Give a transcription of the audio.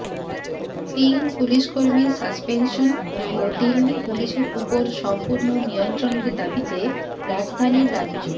তিন পুলিস কর্মীর সাসপেনশন ও দিল্লি পুলিসের উপর সম্পূর্ণ নিয়ন্ত্রণের দাবিতে রাজধানীর রাজ্য